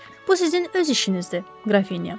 Bu sizin öz işinizdir, Qrafinya.